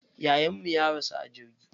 Yayan mu ya rasu a jirgi.